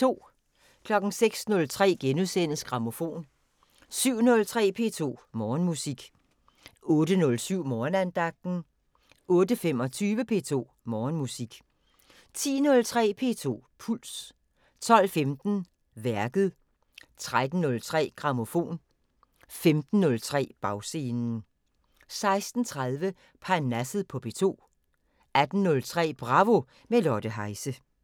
06:03: Grammofon * 07:03: P2 Morgenmusik 08:07: Morgenandagten 08:25: P2 Morgenmusik 10:03: P2 Puls 12:15: Værket 13:03: Grammofon 15:03: Bagscenen 16:30: Parnasset på P2 18:03: Bravo – med Lotte Heise